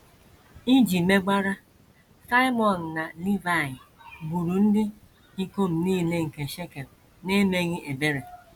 Iji megwara, Simiọn na Livaị gburu ndị ikom nile nke Shekem n’emeghị ebere.